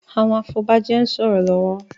Àwọn afobaje ń sòrò lówó